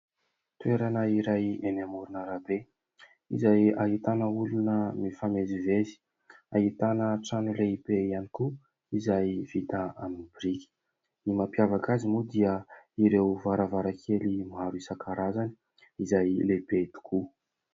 Toerana iray eny amorona arabe izay ahitana olona mifamezivezy, ahitana trano lehibe ihany koa izay vita amin'ny biriky ; ny mampiavaka azy moa dia ireo varavarakely maro isan-karazany izay lehibe tokoa.